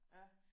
Ja